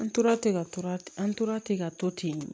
An tora ten ka to ten an tora ten ka to ten